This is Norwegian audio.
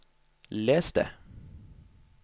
les det